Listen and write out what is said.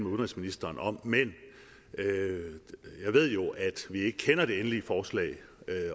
udenrigsministeren om men jeg ved jo at vi ikke kender det endelige forslag